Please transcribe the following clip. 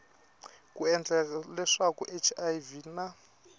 ku endla leswaku hiv na